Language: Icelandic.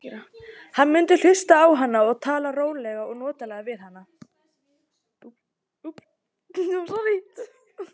Hann mundi hlusta á hana og tala rólega og notalega við hana.